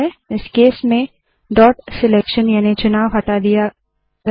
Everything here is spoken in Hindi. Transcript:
इस केस में डॉट सेलेक्शन याने चुनाव हटा दिया गया है